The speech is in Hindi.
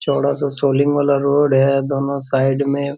चौड़ा सा सोलिंग वाला रोड है दोनों साइड में।